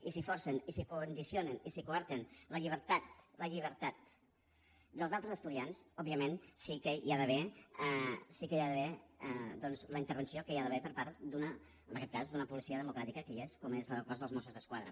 i si forcen i si condicionen i si coarten la llibertat la llibertat dels altres estudiants òbviament sí que hi ha d’haver doncs la intervenció que hi ha d’haver per part en aquest cas d’una policia democràtica que hi és com és la del cos de mossos d’esquadra